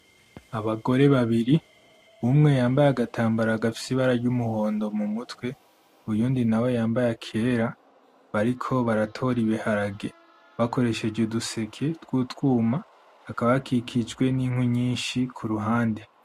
Abagore babiri, umwe yambaye agatambara gafise ibara ry'umuhondo mu mutwe, uwundi nawe yambaye akera, bariko baratora ibiharage bakoresheje uduseke tw'utwuma bakaba bakikijwe n'ikwi nyinshi ku ruhande.